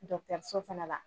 fɛnɛ la